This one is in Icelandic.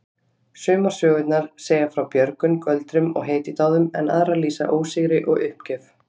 Sumar sögurnar segja frá björgun, göldrum og hetjudáðum en aðrar lýsa ósigri og uppgjöf.